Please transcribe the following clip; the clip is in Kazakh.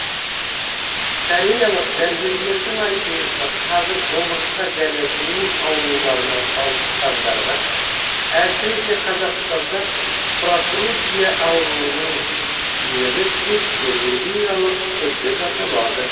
кореялық дәрігерлердің айтуынша қазір омыртқа және буын ауруларына шалдыққандарға әсіресе қазақстанда протрузия ауруының емі тек хирургиялық түрде жасалады